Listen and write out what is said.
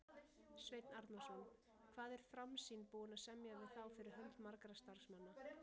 Sveinn Arnarson: Hvað er Framsýn búin að semja við þá fyrir hönd margra starfsmanna?